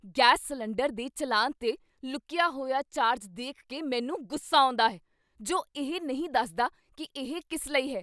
Gas cylinder ਦੇ ਚੱਲਾਨ 'ਤੇ ਲੁਕੀਆ ਹੋਇਆ ਚਾਰਜ ਦੇਖ ਕੇ ਮੈਨੂੰ ਗੁੱਸਾ ਆਉਂਦਾ ਹੈ, ਜੋ ਇਹ ਨਹੀਂ ਦੱਸਦਾ ਕੀ ਇਹ ਕਿਸ ਲਈ ਹੈ।